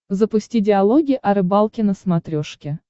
запусти диалоги о рыбалке на смотрешке